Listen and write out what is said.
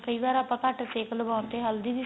ਕਈ ਵਾਰ ਆਪਾਂ ਘੱਟ ਸੇਕ ਲਵਾਣ ਤੇ ਹਲਦੀ ਦੀ smell